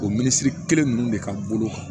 O miniisiri kelen ninnu de ka bolo kan